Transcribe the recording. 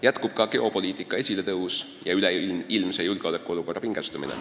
Jätkub ka geopoliitika esiletõus ja üleilmse julgeolekuolukorra pingestumine.